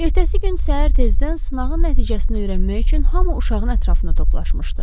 Ertəsi gün səhər tezdən sınağın nəticəsini öyrənmək üçün hamı uşağın ətrafına toplaşmışdı.